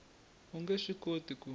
u nge swi koti ku